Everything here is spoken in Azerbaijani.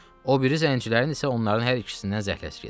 O biri zəncilərin isə onların hər ikisindən zəhləsi gedirdi.